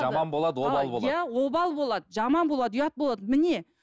жаман болады обал болады иә обал болады жаман болады ұят болады міне